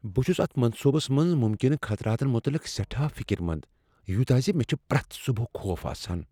بہ چھُس اتھ منصوبس منز ممکنہٕ خطراتن متعلق سیٹھاہ فکر مند، یوتاہ ز مےٚ چھ پریتھ صبحہٕ خوف آسان۔